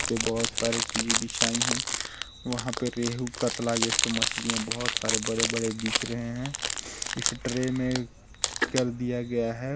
से बोहत सारी चीजे बिछाई है वहा पे रेहु कतला ये सब मछलीया बोहत सारे बड़े बड़े दिख रहे है इस ट्रे में कर दिया गया हैं।